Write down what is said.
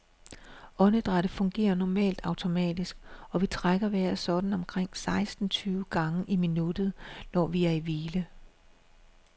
Åndedrættet fungerer normalt automatisk, og vi trækker vejret sådan omkring seksten tyve gange i minuttet, når vi er i hvile.